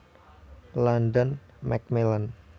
London Macmillan